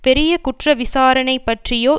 பெரிய குற்ற விசாரணை பற்றியோ